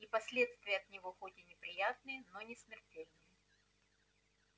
и последствия от него хоть и неприятные но не смертельные